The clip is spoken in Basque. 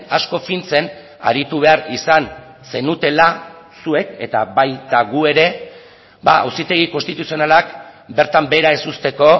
asko fintzen aritu behar izan zenutela zuek eta baita gu ere auzitegi konstituzionalak bertan behera ez uzteko